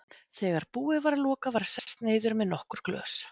Þegar búið var að loka var sest niður með nokkur glös.